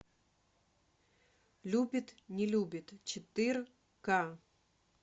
любит не любит четыре к